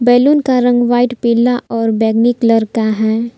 Balloon का रंग white पीला और बैगनी कलर का है।